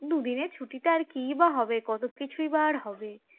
দুদিনের ছুটিতে আর কি বা হবে কত কিছুই বা হবে